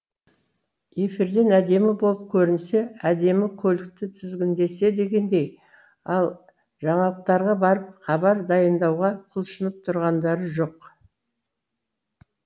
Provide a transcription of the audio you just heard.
эфирден әдемі болып көрінсе әдемі көлікті тізгіндесе дегендей ал жаңалықтарға барып хабар дайындауға құлшынып тұрғандары жоқ